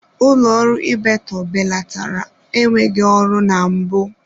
Ụlọ ọrụ Ibeto belatara enweghị ọrụ na mbụ.